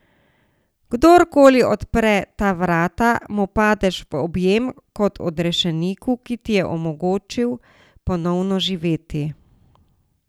Kdorkoli odpre ta vrata, mu padeš v objem kot odrešeniku, ki ti je omogočil ponovno živeti.